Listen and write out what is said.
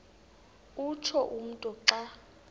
utsho umntu xa